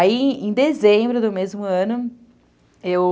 Aí, em dezembro do mesmo ano, eu...